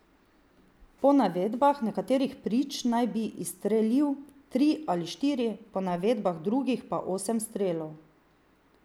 Po navedbah nekaterih prič naj bi izstrelil tri ali štiri, po navedbah drugih pa osem strelov.